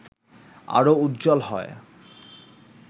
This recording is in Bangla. আরও উজ্জ্বল হয়